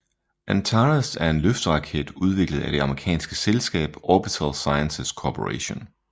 Antares er en løfteraket udviklet af det amerikanske selskab Orbital Sciences Corporation